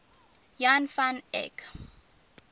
jan van eyck